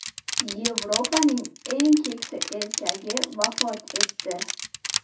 Yevropaning eng keksa erkagi vafot etdi.